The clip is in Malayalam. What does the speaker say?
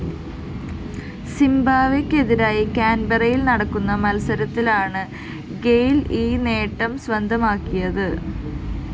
സിംബാബ്‌വേയ്‌ക്കെതിരായി കാന്‍ബെറയില്‍ നടക്കുന്ന മത്സരത്തിലാണ് ഗെയില്‍ ഈ നേട്ടം സ്വന്തമാക്കിയത്